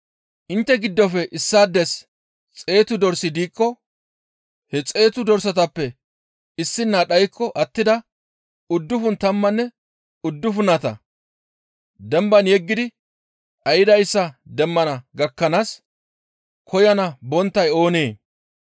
«Intte giddofe issaades xeetu dorsi diikko he xeetu dorsatappe issina dhaykko attida uddufun tammanne uddufunata demban yeggidi dhaydayssa demmana gakkanaas koyana bonttay oonee?